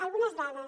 algunes dades